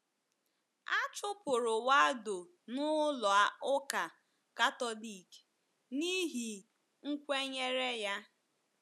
A chụpụrụ Waldo na Ụlọ Ụka Katọlik n’ihi nkwenyere ya.